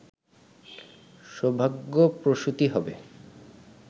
সৌভাগ্যপ্রসূতি হবে